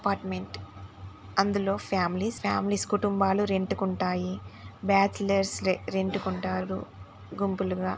apartment అందులో families families కుటుంబాలు rent కి ఉంటాయి బాచిలర్స్ రెంట్ కి ఉంటారు గుంపులుగా